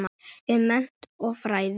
um mennt og fræði